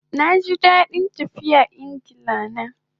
Naji dadin tafiya na Ingla